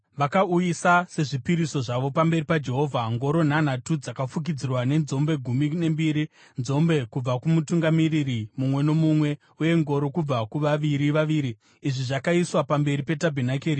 Vakauyisa sezvipiriso zvavo pamberi paJehovha, ngoro nhanhatu dzakafukidzirwa nenzombe gumi nembiri, nzombe kubva kumutungamiri mumwe nomumwe uye ngoro kubva kuvaviri vaviri. Izvi zvakaiswa pamberi petabhenakeri.